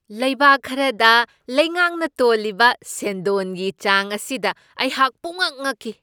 ꯂꯩꯕꯥꯛ ꯈꯔꯗ ꯂꯩꯉꯥꯛꯅ ꯇꯣꯜꯂꯤꯕ ꯁꯦꯟꯗꯣꯟꯒꯤ ꯆꯥꯡ ꯑꯁꯤꯗ ꯑꯩꯍꯥꯛ ꯄꯨꯡꯉꯛ ꯉꯛꯈꯤ ꯫